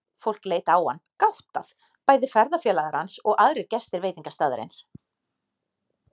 Fólk leit á hann, gáttað, bæði ferðafélagar hans og aðrir gestir veitingastaðarins.